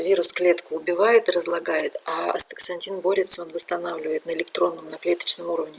вирус клетку убивает разлагает а астаксантин борется он восстанавливает на электронном на клеточном уровне